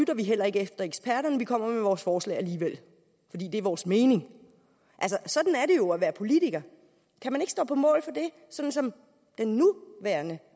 heller ikke efter eksperterne vi kommer med vores forslag alligevel fordi det er vores mening sådan er det jo at være politiker kan man ikke stå på mål for det sådan som den nuværende